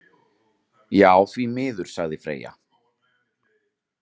Já, því miður, sagði Freyja.